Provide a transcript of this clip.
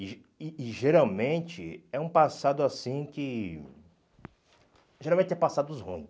ge e e geralmente é um passado assim que, geralmente é passados ruins.